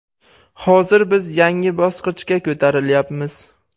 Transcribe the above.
Hozir biz yangi bosqichga ko‘tarilyapmiz.